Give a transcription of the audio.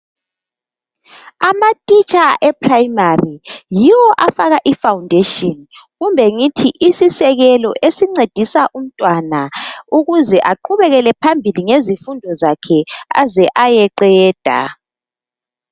Amatitsha eprayimari yiwo afaka ifawundeshini kumbe ngithi isisekelo esincedisa umtwana ukuze aqhubekele phambili ngezifundo zakhe aze ayeqeda.